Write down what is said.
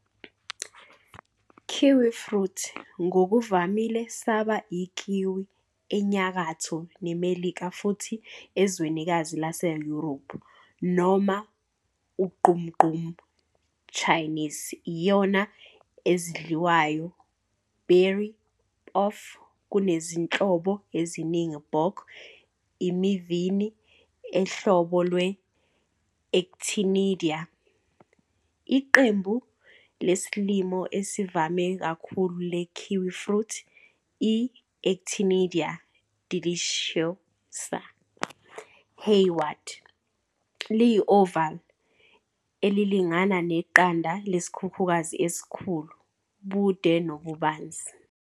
Kiwifruit, ngokuvamile saba ikiwi eNyakatho neMelika futhi ezwekazini laseYurophu, noma ugqumugqumu Chinese iyona ezidliwayo berry of Kunezinhlobo eziningi bok imivini e uhlobo lwe-"Actinidia." Iqembu lesilimo esivame kakhulu le-kiwifruit, i-"Actinidia deliciosa" 'Hayward', liyi-oval, elilingana neqanda lesikhukhukazi esikhulu-bude nobubanzi.